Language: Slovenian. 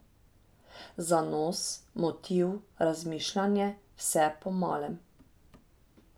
Zanos, motiv, razmišljanje, vse po malem.